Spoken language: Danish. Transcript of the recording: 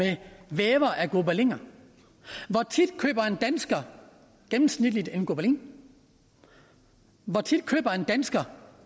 vævere af gobeliner hvor tit køber en dansker i gennemsnit en gobelin hvor tit køber en dansker